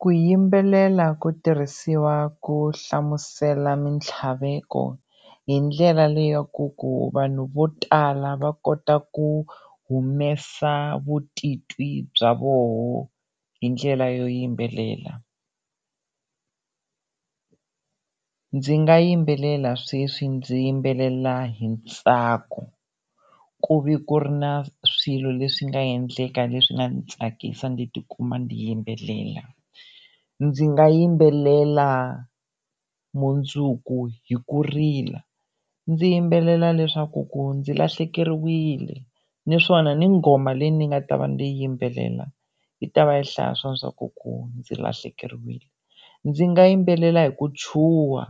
Ku yimbelela ku tirhisiwa ku hlamusela mintlhaveko hi ndlela leyaku ku vanhu vo tala va kota ku humesa vutitwi bya voho hi ndlela yo yimbelela. Ndzi nga yimbelela sweswi ndzi yimbelela hi ntsako ku va ku ri na swilo leswi nga endleka leswi nga ni tsakisa ndzi ti kuma ni yimbelela, ndzi nga yimbelela mundzuku hi ku rila ndzi yimbelela leswaku ku ndzi lahlekeriwile naswona ni nghoma leyi ni nga ta va ni yi yimbelela yi ta va yi hlaya swo swa ku ku ndzi lahlekeriwile, ndzi nga yimbelela hi ku chuha